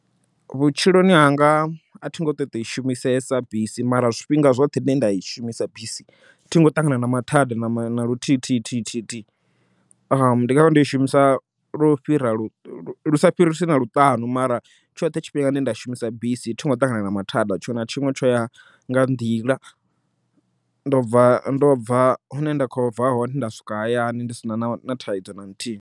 Vhutshiloni hanga athi ngo ṱo i shumisesa bisi, mara zwifhinga zwoṱhe zwine nda i shumisa bisi thingo ṱangana na mathada na luthithithihi ndi ngavha ndo i shumisa lo fhira lu sa fhirisi na luṱanu, mara tshoṱhe tshifhinga tshine nda shumisa bisi thungo ṱangana na mathada, tshiṅwe na tshiṅwe tsho ya nga nḓila. Ndo bva ndo bva hune nda kho bva hone nda swika hayani ndi sina na thaidzo na nthihi.